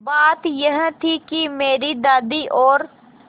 बात यह थी कि मेरी दादी और